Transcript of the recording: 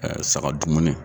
saga dumuni.